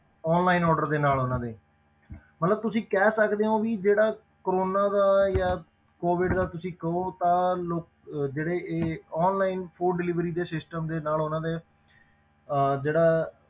Online order ਦੇ ਨਾਲ ਉਹਨਾਂ ਦੇ ਮਤਲਬ ਤੁਸੀਂ ਕਹਿ ਸਕਦੇ ਹੋ ਵੀ ਜਿਹੜਾ ਕੋਰੋਨਾ ਦਾ ਜਾਂ COVID ਦਾ ਤੁਸੀਂ ਕਹੋ ਤਾਂ ਲੋਕ ਅਹ ਜਿਹੜੇ ਇਹ online food delivery ਦੇ system ਦੇ ਨਾਲ ਉਹਨਾਂ ਦੇ ਅਹ ਜਿਹੜਾ